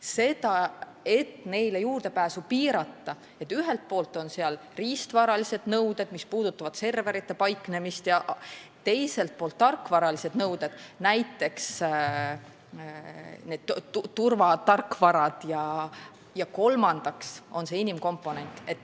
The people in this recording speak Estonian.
Selleks, et neile juurdepääsu piirata, on ühelt poolt riistvaralised nõuded, mis puudutavad serverite paiknemist, ja teiselt poolt tarkvaralised nõuded, näiteks turvatarkvarad, ja kolmandaks on inimkomponent.